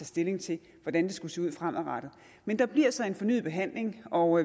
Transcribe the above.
stilling til hvordan det skulle se ud fremadrettet men der bliver så en fornyet behandling og